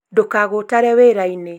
ndũkagũtare wĩrainĩ